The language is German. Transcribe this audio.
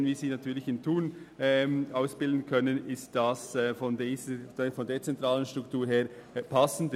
Wenn wir sie hingegen in Thun ausbilden können, ist dies aus Sicht einer dezentralen Struktur passender.